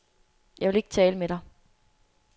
Jeg vil ikke tale med dig.